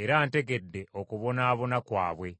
era ntegedde okubonaabona kwabwe.